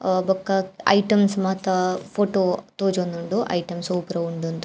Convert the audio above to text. ಅಹ್ ಬೊಕ್ಕ ಐಟಮ್ಸ್ ಮಾತ ಫೊಟೊ ತೋಜೊಂದುಂಡು ಐಟಮ್ಸ್ ಒವು ಪೂರ ಉಂಡ್ಂದ್.